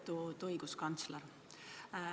Lugupeetud õiguskantsler!